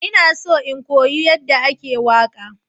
Ina so in koyi yadda ake waƙa.